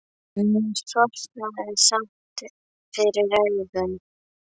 En mér sortnaði samt fyrir augum.